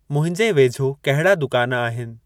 मुंहिंजे वेझो कहिड़ा दुकान आहिनि?